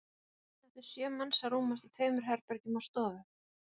Hvernig áttu sjö manns að rúmast í tveimur herbergjum og stofu?